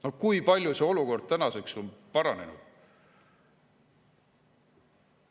Aga kui palju see olukord tänaseks on paranenud?